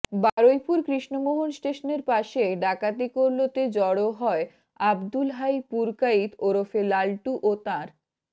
বারুইপুর কৃষ্ণমোহন স্টেশনের পাশে ডাকাতি করলতে জড়ো হয় আব্দুল হাই পুরকাইত ওরফে লাল্টু ও তাঁর